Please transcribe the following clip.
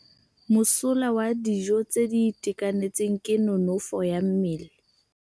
Mosola wa dijô tse di itekanetseng ke nonôfô ya mmele.